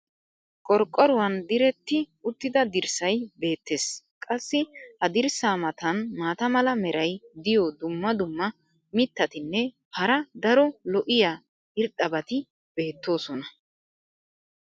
qorqqoruwan diretti uttida dirssay beetees. qassi ha dirssa matan maata mala meray diyo dumma dumma mitatinne hara daro lo'iya irxxabati beetoosona.